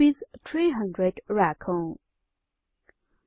300 राखौं 2